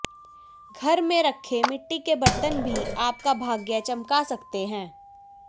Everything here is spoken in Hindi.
घर में रखे मिट्टी के बर्तन भी आपका भाग्य चमका सकते हैं